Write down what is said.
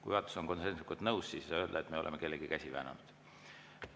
Kui juhatus on konsensuslikult nõus, siis ei saa öelda, et me oleme kellegi käsi väänanud.